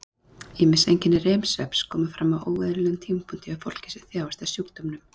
Ýmis einkenni REM-svefns koma fram á óeðlilegum tímapunkti hjá fólki sem þjáist af sjúkdómnum.